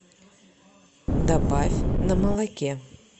добавь на молоке